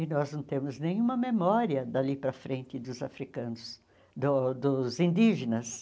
E nós não temos nenhuma memória dali para frente dos africanos, do dos indígenas.